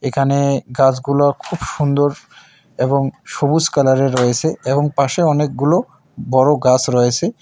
এখানে গাসগুলা খুব সুন্দর এবং সবুজ কালারের রয়েসে এবং পাশে অনেকগুলো বড় গাস রয়েসে।